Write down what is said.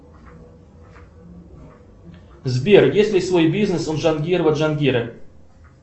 сбер есть ли свой бизнес у джангирова джангира